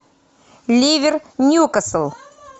ливер ньюкасл